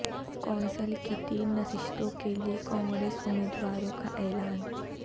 council کی تین نشستوں کیلئے کانگریس امیدواروں کا اعلان